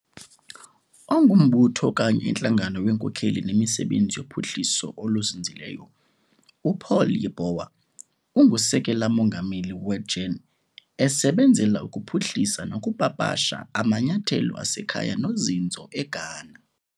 Ongumbutho okanye intlangano wenkokheli nemisebenzi yophuhliso oluzinzileyo uPaul Yeboah ungusekela mongameli weGEN esebenzela ukuphuhlisa nokupapasha amanyathelo asekhaya nozinzo eGhana.